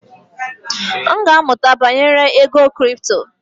M ga-amụta banyere ego kripto.